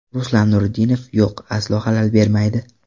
Ruslan Nuriddinov: Yo‘q, aslo xalal bermaydi.